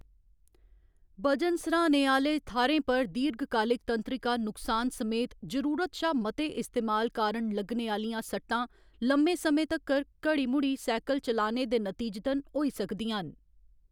वजन स्हारने आह्‌‌‌ले थाह्‌रें पर दीर्घकालिक तंत्रिका नुकसान समेत जरूरत शा मते इस्तेमाल कारण लग्गने आह्‌‌‌लियां सट्टां, लम्मे समें तक्कर घड़ी मुड़ी साइकल चलाने दे नतीजतन होई सकदियां न।